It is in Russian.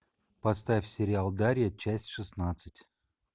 поставь сериал дарья часть шестнадцать